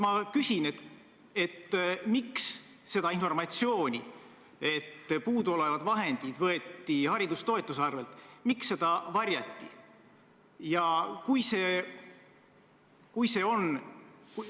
Ma küsin: miks seda informatsiooni, et puuduolevad vahendid võeti haridustoetuste arvelt, varjati?